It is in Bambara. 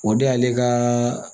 O de y'ale kaaa